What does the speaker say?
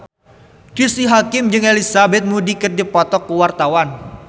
Cristine Hakim jeung Elizabeth Moody keur dipoto ku wartawan